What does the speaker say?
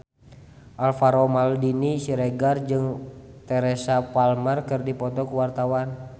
Alvaro Maldini Siregar jeung Teresa Palmer keur dipoto ku wartawan